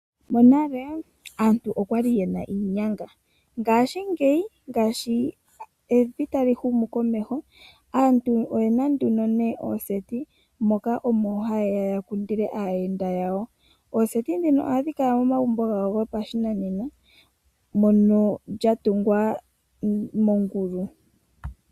Monale aantu okwali yena iinyanga. Ngaashingeyi uuyuni sho tawu humu komeho aantu oyena nduno nee ooseti moka omo haya kundile aayenda yawo. Ooseti ndhino ohadhi kala momagumbo gawo gopashinanena mono dha tungwa moondunda dhoongulu.